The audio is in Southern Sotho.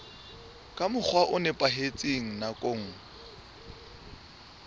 ka mokgwa o nepahetseng nakong